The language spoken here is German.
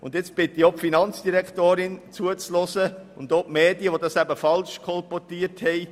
Und nun bitte ich auch die Finanzdirektorin und die Medien zuzuhören, welche das falsch kolportiert haben.